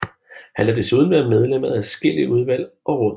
Han har desuden været medlem af adskillige udvalg og råd